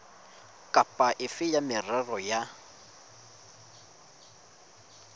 kapa efe ya merero ya